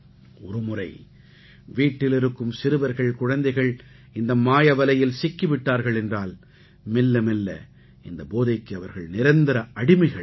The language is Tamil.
ஒருமுறை வீட்டில் இருக்கும் சிறுவர்கள் குழந்தைகள் இந்த மாயவலையில் சிக்கி விட்டார்கள் என்றால் மெல்ல மெல்ல இந்த போதைக்கு அவர்கள் நிரந்தர அடிமைகள் தாம்